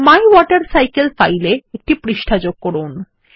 my water cycle file এ একটি পৃষ্ঠা যোগ করুন